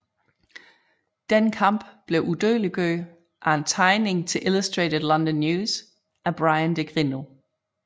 Denne kamp blev udødeliggjort i en tegning til Illustrated London News af Bryan de Grineau